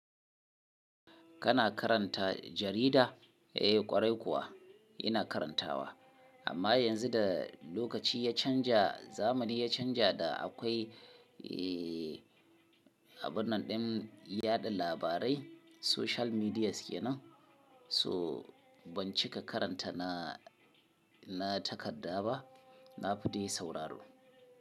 Kana karanta jarida? Ai ƙwarai kuwa ina karantawa. Amma yanzu da lokaci ya canja zamani ya canja da akwai, abun nan ɗin yaɗa labarai social medias kenan. To ban cika karanta na, na takadda ba, na fi dai sauraro.